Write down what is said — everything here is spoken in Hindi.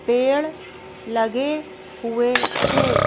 पेड़ लगे हुए है।